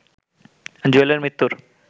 জুয়েলের মৃত্যুর